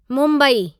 Mumbai